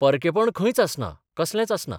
परकेंपण खंयच आसना कसलेंच आसना.